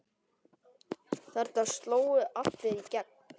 Þarna slógu allir í gegn.